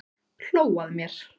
Hló að mér!